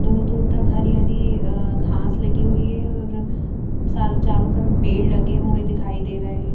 दूर दूर तक अह हरी हरी घास लगी हुई है और सा चारों तरफ़ पेड़ लगे हुए दिखाई दे रहे है ।